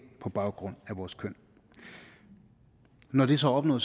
på baggrund af vores køn når når det så er opnået